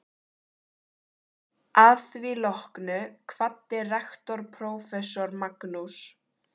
Að því loknu kvaddi rektor prófessor Magnús